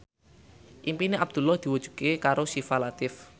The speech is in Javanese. impine Abdullah diwujudke karo Syifa Latief